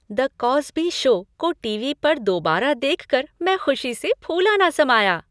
"The Cosby show" को TV पर दोबारा देख कर मैं खुशी से फूला न समाया।